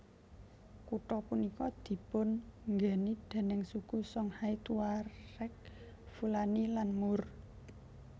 Kutha punika dipun nggeni déning suku Songhay Tuareg Fulani lan Moor